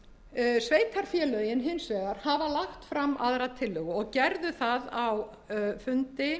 sveitarfélögin hins vegar hafa lagt fram aðra tillögu og gerðu það á fundi